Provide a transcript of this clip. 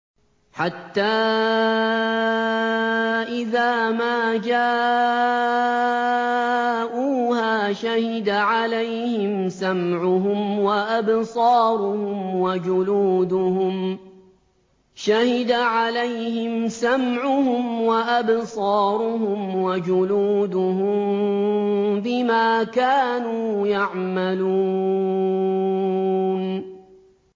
حَتَّىٰ إِذَا مَا جَاءُوهَا شَهِدَ عَلَيْهِمْ سَمْعُهُمْ وَأَبْصَارُهُمْ وَجُلُودُهُم بِمَا كَانُوا يَعْمَلُونَ